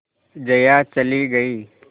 जया चली गई